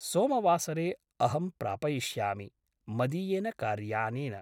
सोमवासरे अहं प्रापयिष्यामि मदीयेन कार्यानेन ।